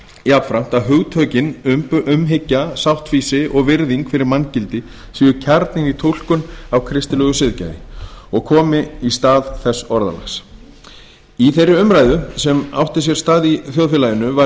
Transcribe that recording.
jafnframt að hugtökin umhyggja sáttfýsi og virðing fyrir manngildi séu kjarninn í túlkun á kristilegu siðgæði og komi í stað þess orðalags í þeirri umræðu sem átti sér stað í þjóðfélaginu var